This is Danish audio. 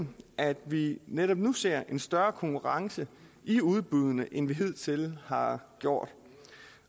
at vi netop nu ser en større konkurrence i udbuddene end vi hidtil har gjort